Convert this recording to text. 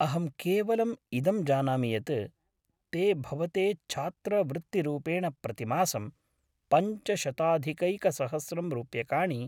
अहं केवलं इदं जानामि यत् ते भवते छात्रवृत्तिरूपेण प्रतिमासं पञ्चशताधिकैकसहस्रं रूप्यकाणि।